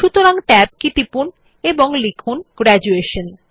সুতরাং Tab কি টিপুন এবং লিখুন গ্র্যাজুয়েশন